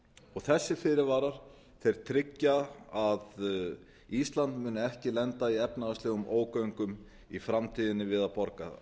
og þessir fyrirvarar tryggja að ísland muni ekki lenda í efnahagslegum ógöngum í framtíðinni við að